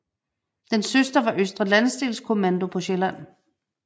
Dens søster var Østre Landsdelskommando på Sjælland